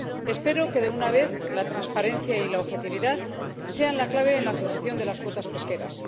Espero que, de una vez, la transparencia y la objetividad sean la clave en la fijación de las cuotas pesqueras.